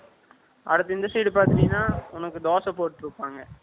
அடுத்து, இந்த side பார்த்துட்டீங்கன்னா, உனக்கு தோசை போட்டுட்டிருப்பாங்க